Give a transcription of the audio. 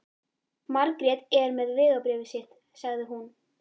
Margrét er með vegabréfið sitt, sagði hún.